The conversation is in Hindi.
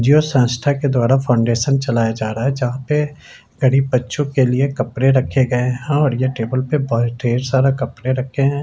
जिओ संस्था के द्वारा फाउन्डेशन चलाया जा रहा है जहा पे गरीब बच्चों के लिए कपड़े रखे गए हैं और यह टेबल पे बहुत ढेर सारा कपड़े रखे हैं।